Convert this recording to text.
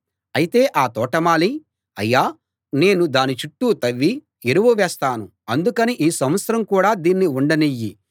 అయితే ఆ తోటమాలి అయ్యా నేను దాని చుట్టూ తవ్వి ఎరువు వేస్తాను అందుకని ఈ సంవత్సరం కూడా దీన్ని ఉండనియ్యి